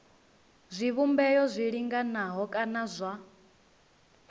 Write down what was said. zwivhumbeo zwi linganaho kana zwa